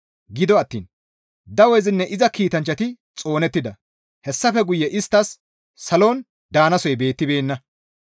Gido attiin dawezinne iza kiitanchchati xoonettida; hessafe guye isttas salon daanasoy beettibeenna.